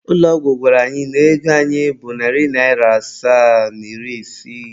Ụlọ ọgwụ gwara anyị na ego anyị bụ narị naịra asaa na iri isii.